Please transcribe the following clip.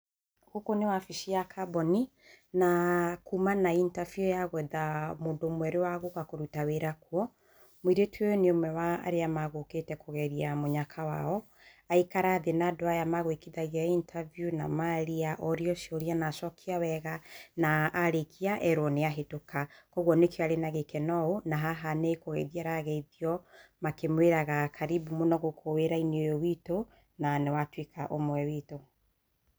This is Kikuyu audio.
Gũkũ nĩ wabici ya kambuni na kuma na itabiũ ya gwetha mũndũ mwerũ wa gũka kũruta wĩra kuo. Mũirĩtu ũyũ nĩ ũmwe wa arĩa megũkĩte kũgeria mũnyaka wao, aikara thĩ na andũ aya me gwĩkithagia itabiũ, maria, orio ciũria na acokia wega na arĩkia erwo nĩ ahetũka. Kuoguo nĩkĩo arĩ na gĩkeno ũũ na haha nĩ kũgeithio arageithio makĩmwĩraga karibu mũno gũkũ wĩra-inĩ ũyũ wĩtũ na nĩ watuĩka ũmwe wĩtũ.